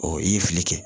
i ye fili kɛ